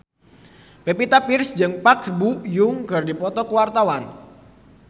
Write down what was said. Pevita Pearce jeung Park Bo Yung keur dipoto ku wartawan